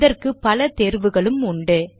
இதற்கு பல தேர்வுகளும் உண்டு